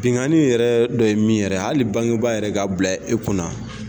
Benkanni yɛrɛ dɔ ye min yɛrɛ ye, hali bangebaa yɛrɛ ka bila e kunna